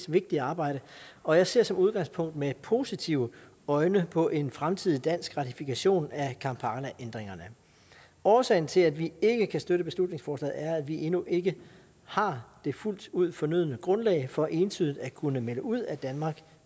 vigtige arbejde og jeg ser som udgangspunkt med positive øjne på en fremtidig dansk ratifikation af kampalaændringerne årsagen til at vi ikke kan støtte beslutningsforslaget er at vi endnu ikke har det fuldt ud fornødne grundlag for entydigt at kunne melde ud at danmark